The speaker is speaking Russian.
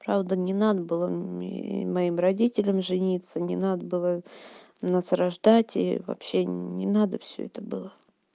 правда не надо было моим родителям жениться не надо было нас рождать и вообще не надо всё это было